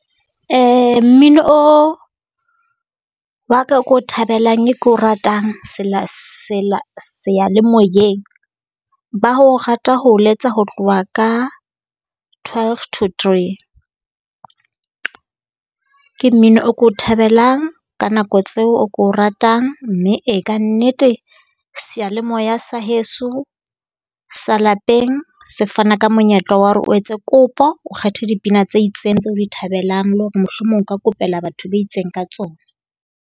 Mmino o wa ka oo ke o thabelang e ko ratang seyalemoyeng, ba o rata ho letsa ho tloha ka twelve to three. Ke mmino o ko thabelang ka nako tseo, o ko o ratang. Mme e kannete seyalemoya sa heso sa lapeng se fana ka monyetla wa hore o etse kopo, o kgethe dipina tse itseng tse o di thabelang, le hore mohlomong o ka kopela batho ba itseng ka tsona.